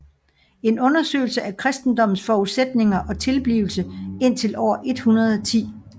En undersøgelse af kristendommens forudsætninger og tilblivelse indtil år 110